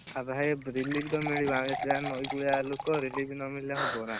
ଭାଇ relief ତ ମିଳିବ ନଈକୂଳିଆ ଲୋକ relief ନ ମିଳିଲେ ହବନା।